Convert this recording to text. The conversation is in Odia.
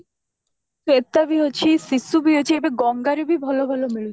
ଶ୍ଵେତା ବି ଅଛି ଶିଶୁ ବି ଅଛି ଆଉ ଏବେ ଗଙ୍ଗା ରେ ବି ଭଲ ଭଲ ମିଳୁଛି